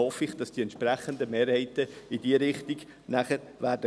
Ich hoffe, dass die entsprechenden Mehrheiten dann in diese Richtung gehen werden.